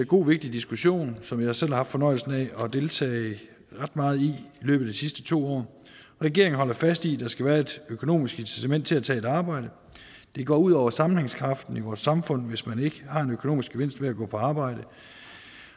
en god og vigtig diskussion som jeg selv har haft fornøjelsen af at deltage ret meget i i løbet af de sidste to år regeringen holder fast i at der skal være et økonomisk incitament til at tage et arbejde det går ud over sammenhængskraften i vores samfund hvis man ikke har en økonomisk gevinst ved at gå på arbejde